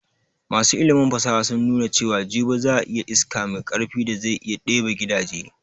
Masu ilimin fasaha sun nuna cewan jibi za ayi iska mai karfi da zai iya ɗebe gidaje